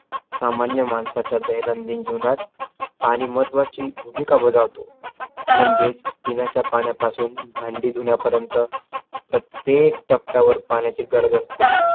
सामान्य माणसाच्या दैनंदिन जीवनात आणि महत्वाची भूमिका बजावतो. म्हणजेच पिण्याच्या पाण्यापासून भांडे धुण्यापर्यंत प्रत्येक टप्प्यावर पाण्याची गरज असते.